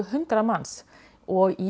hundrað manns og í